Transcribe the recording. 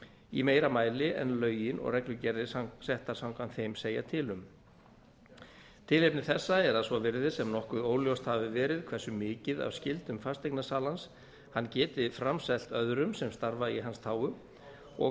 í meira mæli en lögin og reglugerðir settar samkvæmt þeim segja til um tilefni þessa er að svo virðist sem nokkuð óljóst hafi verið hversu mikið af skyldum fasteignasalans hann geti framselt öðrum sem starfa í hans þágu og